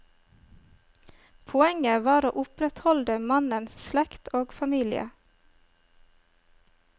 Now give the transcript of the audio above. Poenget var å opprettholde mannens slekt og familie.